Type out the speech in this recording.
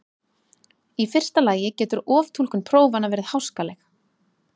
Í fyrsta lagi getur oftúlkun prófanna verið háskaleg.